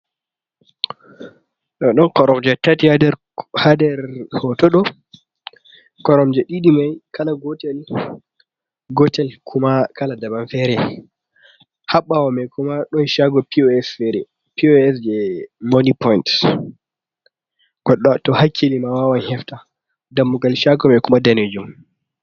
Ɗon koromje tati haa nder hooto ɗo, koromje ɗiɗi may kala gotel .Gotel kuma kala daban fere haa ɓaawa may kuma ɗon caago POS jey moni poyin. To hakkili ma, wawan hefta dammugal caago may kuma daneejum.